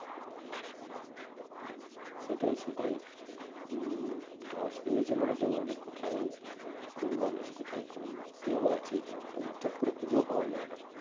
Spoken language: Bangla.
সেটাই সেটাই হম ধস নেমেছে মানে তো কোথায় কোন মানুষ কোথায় কোন দেহ আছে তা তো চট করে খুঁজেও পাওয়া যায় না